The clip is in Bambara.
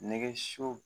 Nɛgɛ siw